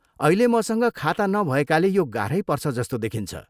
अहिले मसँग खाता नभएकाले यो गाह्रै पर्छ जस्तो देखिन्छ।